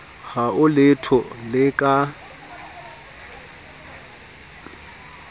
ha ho letho le ka